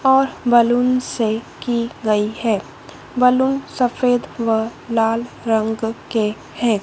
और बलून से की गई है बलून सफेद व लाल रंग के हैं।